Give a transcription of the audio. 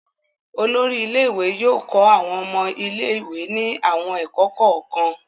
Olórí ilé-ìwé yóò kọ́ àwọn ọmọ ilé-ìwé ní àwọn ẹ̀kọ́ kọ̀ọ̀kan.